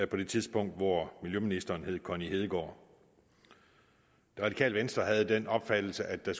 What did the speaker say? på det tidspunkt hvor miljøministeren hed connie hedegaard det radikale venstre havde den opfattelse at der